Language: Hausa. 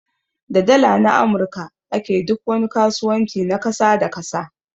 Da Dala na amurka a ke duk wani kasuwanci na kasa da kasa.